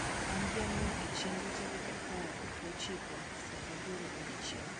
an gi ango' e chenro tarik apar go chiko saa aboro odiechieng